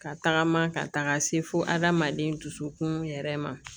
Ka tagama ka taga se fo adamaden dusukun yɛrɛ ma